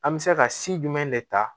An bɛ se ka si jumɛn de ta